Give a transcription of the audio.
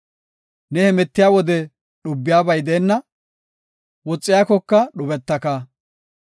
Ne hemetiya wode dhubiyabay deenna; woxiyakoka dhubetaka.